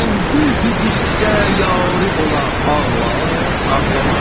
Əndühü-qüssə yarı ola, ağlar, ağlamaz?